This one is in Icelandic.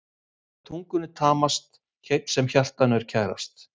Það er tungunni tamast sem hjartanu er kærast.